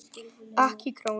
Ekki krónu!